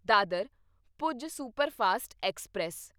Dadar Bhuj superfast express